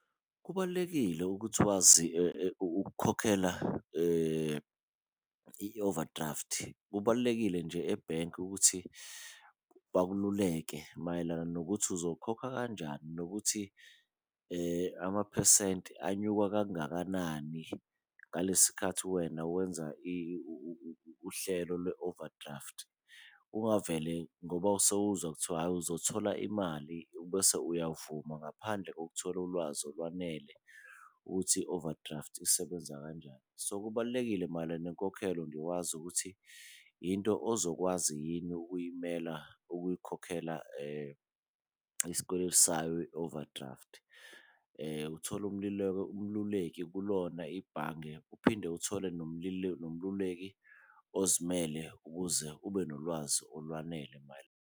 Kubalulekile ukuthi wazi ukukhokhela i-overdraft, kubalulekile nje ebhenki ukuthi bakululeke mayelana nokuthi uzokhokha kanjani, nokuthi amaphesenti anyuka kangakanani ngalesi khathi wena wenza uhlelo lwe-overdraft. Ungavele ngoba sewuzwa kuthiwa hhayi uzothola imali bese uyavuma ngaphandle kokuthola ulwazi olwanele ukuthi i-overdraft isebenza kanjani. So kubalulekile mayelana nenkokhelo nje wazi ukuthi into ozokwazi yini ukuyimela ukuyikhokhela isikweletu sayo i-overdraft, uthole umluleki kulona ibhange uphinde uthole nomluleki ozimele ukuze ube nolwazi olwanele .